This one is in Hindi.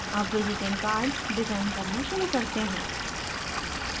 अब visiting card डिज़ाइन करना शुरू करते हैं